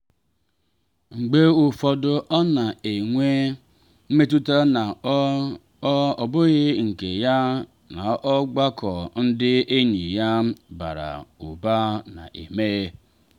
mgbe ụfọdụ ọ na enwe mmetụta na ọ ọ bụghị nke ya n’ọgbakọ ndị enyi ya bara ụba na eme.